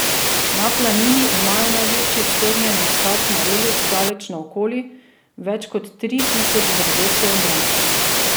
Na Planini imajo največji strnjen nasad marelic daleč naokoli, več kot tri tisoč dreves je v njem.